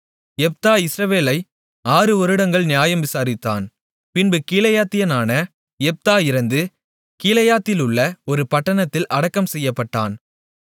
யெப்தா இஸ்ரவேலை ஆறு வருடங்கள் நியாயம் விசாரித்தான் பின்பு கீலேயாத்தியனான யெப்தா இறந்து கீலேயாத்திலுள்ள ஒரு பட்டணத்தில் அடக்கம் செய்யப்பட்டான்